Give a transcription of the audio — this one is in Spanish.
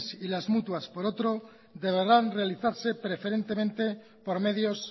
inss y la mutua por otro deberán realizarse preferentemente por medios